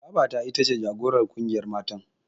Babata ita ce jagorar ƙungiyar matan.